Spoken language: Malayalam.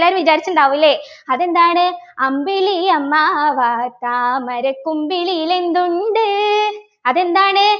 ല്ലാവരും വിചാരിച്ചിട്ടുണ്ടാവു അല്ലേ അതെന്താണ് അമ്പിളിയമ്മാവാ താമര കുമ്പിളിൽ എന്തുണ്ട് അതെന്താണ്